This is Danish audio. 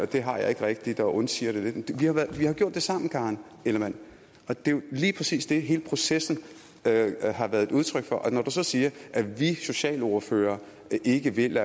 det har jeg ikke rigtigt og undsiger det lidt vi har gjort det sammen karen ellemann det er jo lige præcis det hele processen har været udtryk for når du så siger at vi socialordførere ikke vil